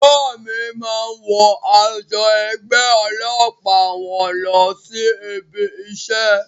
Bàbá mí máa ń wọ aṣọ ẹgbẹ́ ọlọ́pàá wọn lọ sí ibi isẹ́